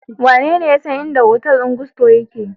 Wanene ya san inda hotel din Gusto yame?